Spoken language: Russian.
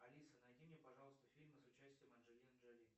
алиса найди мне пожалуйста фильмы с участием анджелины джоли